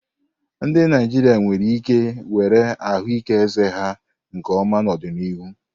Ndị Naijiria nwere ike were ahụike eze ha nke ọma n'ọdịnihu.